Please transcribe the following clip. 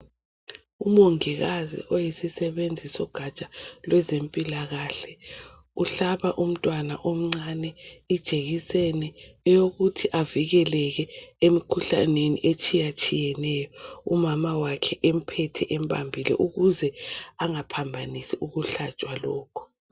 Umongikazi oyisisebenzi sogatsha lwezempilakahle uhlaba umntwana omncane ijekiseni eyokithi avikeleke emkhuhlaneni etshiyatshiyeneyo. Umama wakhe emphethe embambile ukuze angaphambanisi ukuhlatshwa lokhu